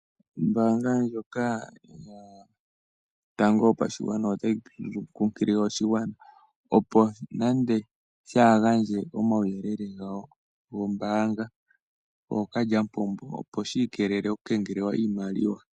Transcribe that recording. Ombaanga ndjoka yotango yopashigwana otayi kunkilile aakwashigwana opo yaa gandje omauyelele gawo gombaanga kookalyamupombo opo shi ikeleele okukengelelwa iimaliwa.